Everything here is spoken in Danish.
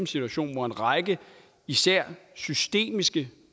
situation hvor en række især systemiske